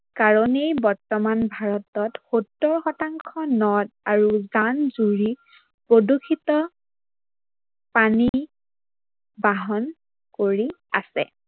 কাৰনেই বৰ্তমান ভাৰতত ষৌত্তৰ শতাংশ নদ আৰু জান-জুৰি, প্ৰদূৰ্ষিত পানী বাহন কৰি আছে।